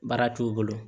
Baara t'u bolo